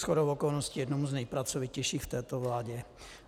Shodou okolností jednomu z nejpracovitějších v této vládě.